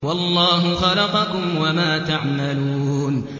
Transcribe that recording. وَاللَّهُ خَلَقَكُمْ وَمَا تَعْمَلُونَ